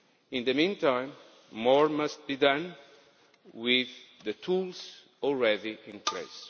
In the meantime, more must be done with the tools already in place.